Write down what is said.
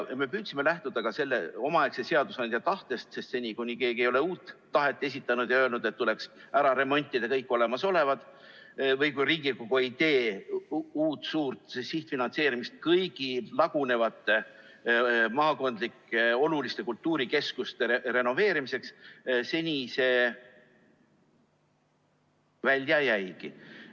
Me püüdsime lähtuda ka sellest omaaegsest seadusandja tahtest, sest seni, kuni keegi ei ole uut tahet esitanud ja öelnud, et tuleks ära remontida kõik olemasolev, või kuni Riigikogu ei tee uut suurt sihtfinantseerimist kõigi lagunevate maakondlike oluliste kultuurikeskuste renoveerimiseks, see välja jääbki.